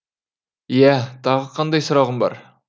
иә тағы қандай сұрағың бар